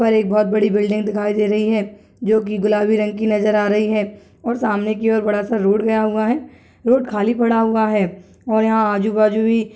पर एक बहोत बड़ी बिल्डिंग दिखाई दे रही है जो की गुलाबी रंग की नजर आ रही है और सामने की ओर बड़ा सा रोड गया हुआ है रोड खाली पड़ा हुआ है और यहाँ आजू बाजू भी --